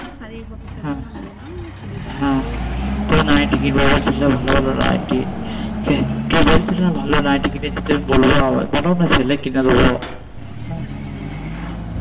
শাড়ি অতো পড়বো না বেশি নেবো না চুড়িদার নেবো নাইটি কিনবো বলছিলে ভালো ভালো নাইটি হু